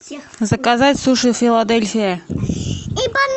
заказать суши филадельфия